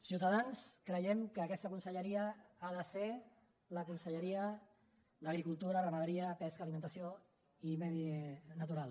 ciutadans creiem que aquesta conselleria ha de ser la conselleria d’agricultura ramaderia pesca alimentació i medi natural